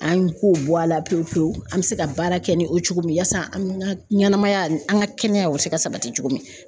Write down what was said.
An ko bɔ a la pewu pewu an bɛ se ka baara kɛ ni o cogo min ye yaasa an ka ɲɛnɛmaya, an ka kɛnɛyaw bɛ se ka sabati cogo min